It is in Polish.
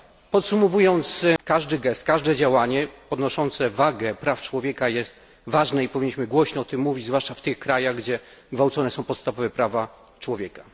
Podsumowując, każdy gest, każde działanie podnoszące wagę praw człowieka jest ważne i powinniśmy głośno o tym mówić, zwłaszcza w tych krajach, gdzie gwałcone są podstawowe prawa człowieka.